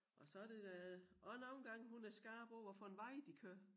Og så det da også nogle gange hun er skarp på hvad for en vej de kører